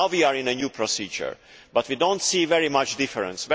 Now we are in a new procedure, but we do not see very much difference.